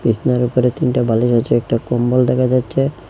বিসনার ওপরে তিনটা বালিশ আছে একটা কম্বল দেখা যাচ্ছে।